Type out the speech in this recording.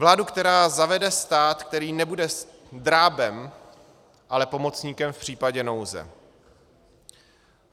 Vládu, která zavede stát, který nebude drábem, ale pomocníkem v případě nouze.